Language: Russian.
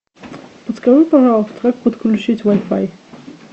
подскажи пожалуйста как подключить вай фай